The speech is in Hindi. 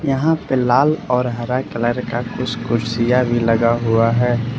यहां पे लाल और हरा कलर का कुछ कुर्सियां भी लगा हुआ है।